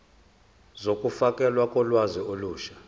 zokufakelwa kolwazi olusha